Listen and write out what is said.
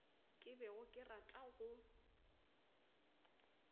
ke bego ke rata go